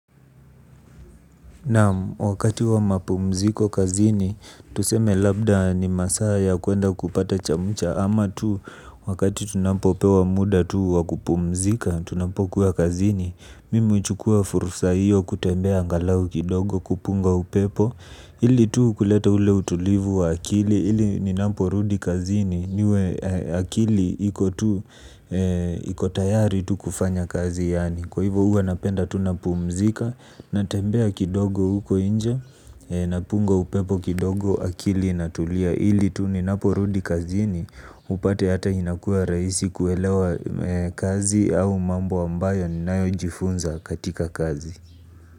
Nam wakati wa mapumziko kazini, tuseme labda ni masaya kuenda kupata chamucha ama tu, wakati tunapo pewa muda tu wakupumzika, tunapo kuwa kazini, mimu chukua furusa hiyo kutembea angalau kidogo kupunga upepo, ili tu kuleta ule utulivu wa akili, ili ninapo rudi kazini, niwe akili ikotayari tu kufanya kazi yaani. Kwa hivyo uwa napenda tunapumzika na tembea kidogo uko nje na punga upepo kidogo akili ina tulia ili tuninaporudi kazini upate hata inakua raisi kuelewa kazi au mambo ambayo nayojifunza katika kazi.